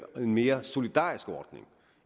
mere solidarisk ordning